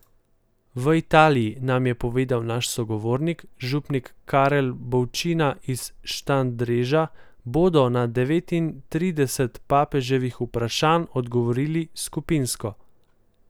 V Italiji, nam je povedal naš sogovornik, župnik Karel Bolčina iz Štandreža, bodo na devetintrideset papeževih vprašanj odgovorili skupinsko.